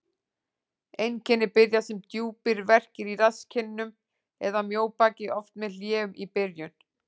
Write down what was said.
Einkenni byrja sem djúpir verkir í rasskinnum eða mjóbaki, oft með hléum í byrjun.